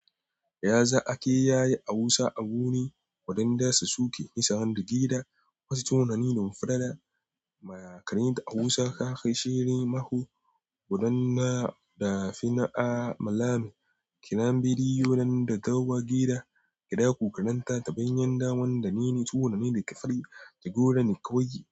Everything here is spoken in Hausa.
Yaza ake yayi a Hausa a birni waɗanda su suke nisar gida. Wasu tunani nun fara da mayaƙaninta a kusa ka shiri mako godanna da fina a malamai. Kira bidiyunan da ta wa gida, kiɗa ku kalanta taɓanyan dawan da mini tunani da ka fari da godan kawai yi.